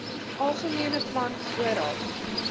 algemene plan vooraf